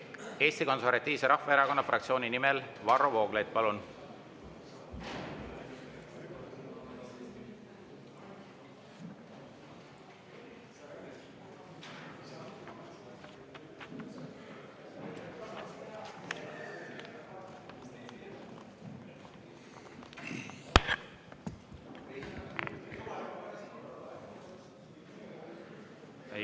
Eesti Konservatiivse Rahvaerakonna fraktsiooni nimel Varro Vooglaid, palun!